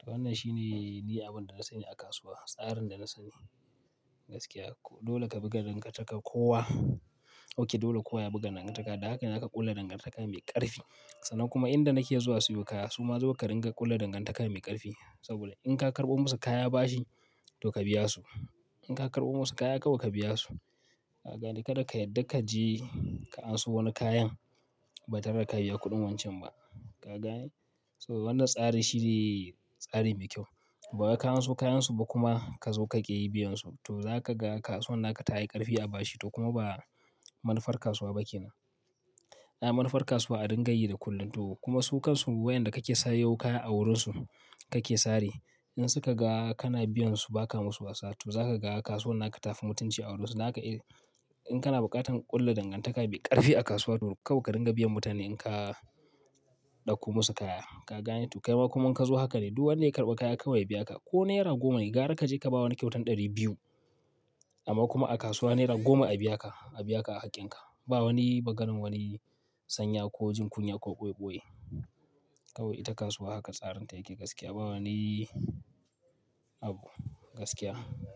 To wannan shine ni abin da na sani a kasuwa. Tsarin da na sani. Gaskiya dole ka buga dangantaka kowa. Okay, dole kowa ya buga dangantaka. Da haka na haka ƙulla dangantaka mai ƙarfi. Sannan kuma inda nake zuwa siyo kaya su ma zo ka ringa ƙulla dangantaka mai ƙarfi. Saboda in ka karɓo musu kaya bashi to ka biya su. In ka karɓo musu kaya kawai ka biya su. Ka gane? Kada ka yadda ka je ka anso wani kayan ba tare da ka biya kuɗin wancan ba. Ka gane? So wannan tsari shine tsari mai kyau. Ba wai ka anso kayansu ba kuma ka zo ka ke yi biyansu. To za ka ga kasuwar naka ta yi ƙarfi a bashi. To kuma ba manufar kasuwa ba kenan. A'a, manufar kasuwa a ringa yi da kullum. To kuma su kansu wayanda kake sayo kaya a wurinsu kake sare. In suka ga kana biyansu ba ka musu wasa to za ka ga kasuwan naka ta fi mutunci a wurinsu. Dan haka in, in kana buƙatar ƙulla dangantaka mai ƙarfi a kasuwa to kawai ka ringa biyan mutane in ka ɗauko musu kaya. Ka gane? To kai ma kuma in ka zo haka ne duk wanda ya karɓa kaya kawai ya biya ka. Ko naira goma ne, gara ka je ka ba wani kyautan ɗari biyu amma kuma a kasuwa naira goma a biya ka, a biya ka a haƙƙinka. Ba wani baganin wani sanya ko jin kunya ko ɓoye ɓoye. Kawai ita kasuwa haka tsarinta yake gaskiya. Ba wani abu. Gaskiya.